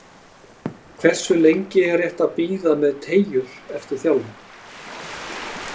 Hversu lengi er rétt að bíða með teygjur eftir þjálfun?